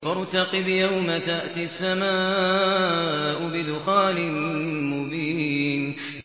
فَارْتَقِبْ يَوْمَ تَأْتِي السَّمَاءُ بِدُخَانٍ مُّبِينٍ